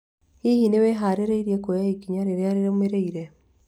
Hihi nĩ wĩharĩirie kuoya ikinya rĩrĩa rĩrũmĩrĩire?